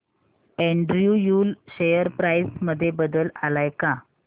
Andrew Yule share price मध्ये बदल आलाय का